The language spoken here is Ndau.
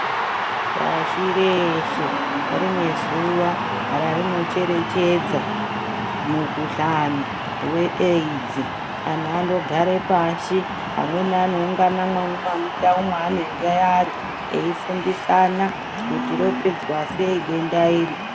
Pashi reshe rine zuwa rarinocherechedza mikhuhlani weAIDS antu anogara pashi amweni anoungana mundau yaanenge ari kuti ropedzwa sei denda iri.